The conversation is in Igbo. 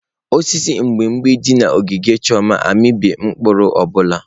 Osisi mgbimgbi dị na ogige Chioma amịbeghị mkpụrụ ọ bụla.